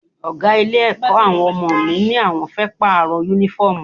Ọ̀gá ilé-ẹ̀kọ́ àwọn ọmọ mi ní àwọn fẹ́ Pààrọ̀ Únífọ́ọ̀mù wọn